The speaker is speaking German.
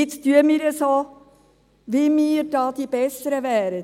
Jetzt tun wir so, als ob wir hier die Besseren wären.